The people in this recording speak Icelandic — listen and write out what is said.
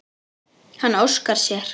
Hann óskar sér.